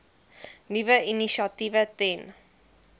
nuwe initiatiewe ten